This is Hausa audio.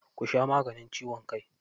Ku sha maganin ciwon kai.